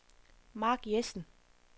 Marc Jessen